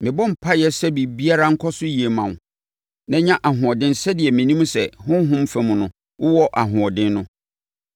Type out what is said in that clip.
Mʼadamfo pa, mebɔ mpaeɛ sɛ biribiara nkɔ so yie mma wo, na nya ahoɔden sɛdeɛ menim sɛ honhom fa mu no, wowɔ ahoɔden no.